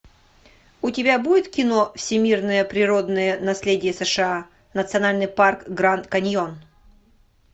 у тебя будет кино всемирное природное наследие сша национальный парк гранд каньон